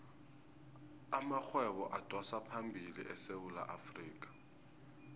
amarhwebo adosaphambili esewula afrikha